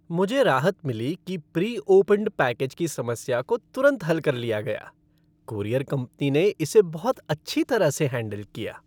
मुझे राहत मिली कि प्री ओपेंड पैकेज की समस्या को तुरंत हल कर लिया गया। कूरियर कंपनी ने इसे बहुत अच्छी तरह से हैंडल किया।